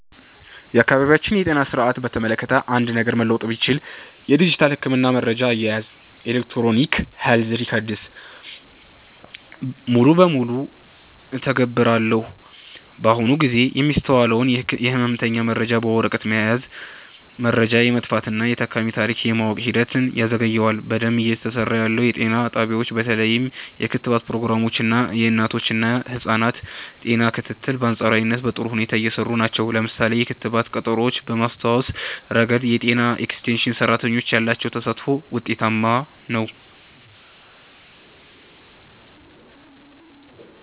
የአካባቢያችንን የጤና ሥርዓት በተመለከተ አንድ ነገር መለወጥ ብችል፣ የዲጂታል የሕክምና መረጃ አያያዝን (Electronic Health Records) ሙሉ በሙሉ እተገብራለሁ። በአሁኑ ጊዜ የሚስተዋለው የሕመምተኛ መረጃ በወረቀት መያዙ፣ መረጃ የመጥፋትና የታካሚን ታሪክ የማወቅ ሂደትን ያዘገየዋል። በደንብ እየሰራ ያለው፦ የጤና ጣቢያዎች በተለይም የክትባት ፕሮግራሞች እና የእናቶችና ህፃናት ጤና ክትትል በአንፃራዊነት በጥሩ ሁኔታ እየሰሩ ናቸው። ለምሳሌ፣ የክትባት ቀጠሮዎችን በማስታወስ ረገድ የጤና ኤክስቴንሽን ሰራተኞች ያላቸው ተሳትፎ ውጤታማ ነው።